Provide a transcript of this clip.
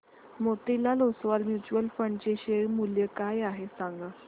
Motilal Oswal mutual fund चे share मूल्य काय आहे सांगा